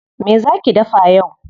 Me zaa ki dafa yau?